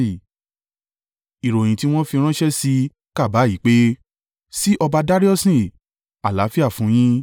Ìròyìn tí wọ́n fi ránṣẹ́ sí i kà báyìí pé, Sí ọba Dariusi, Àlàáfíà fún un yín.